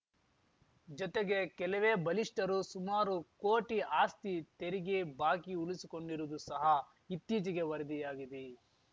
ಜೊತೆಗೆ ಕೆಲವೇ ಬಲಿಷ್ಠರು ಸುಮಾರು ಕೋಟಿ ಆಸ್ತಿ ತೆರಿಗೆ ಬಾಕಿ ಉಳಿಸಿಕೊಂಡಿರುವುದೂ ಸಹ ಇತ್ತೀಚೆಗೆ ವರದಿಯಾಗಿದೆ